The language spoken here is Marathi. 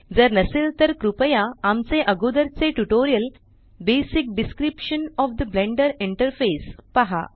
जर नसेल तर कृपया आमचे अगोदरचे tutorial basic description of the Blender interface पहा